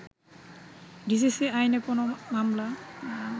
DCC আইনে কোনো আমলা